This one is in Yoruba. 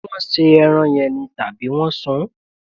Ṣé wọn se ẹran yẹn ni, tàbí wọn sún?